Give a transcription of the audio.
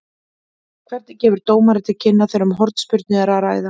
Hvernig gefur dómari til kynna þegar um hornspyrnu er að ræða?